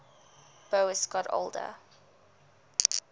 boas got older